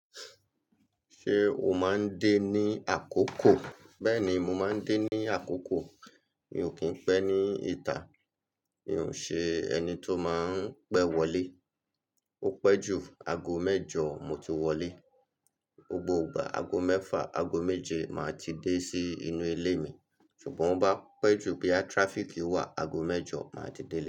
Ṣé o máa ń dé ní àkókò? Bẹ́ẹ̀ni, mo máa ń dé ní àkókò. Mi ò kí ń pẹ́ ní ìta. Mi ò ṣe ẹni tó máa ń pẹ́ wọlé. Ó pẹ́ ju aago mẹ́jọ mo ti wọlé. Gbogbo ìgbà aago mẹ́fà, aago méje màá ti dé sí inú ilé mi. Ṣùgbọ́n bá pẹ́ ju bí a traffic wà, aago mẹ́jọ màá ti dé.